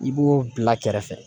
I b'o bila kɛrɛfɛ.